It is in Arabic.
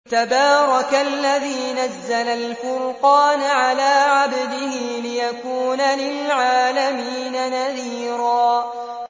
تَبَارَكَ الَّذِي نَزَّلَ الْفُرْقَانَ عَلَىٰ عَبْدِهِ لِيَكُونَ لِلْعَالَمِينَ نَذِيرًا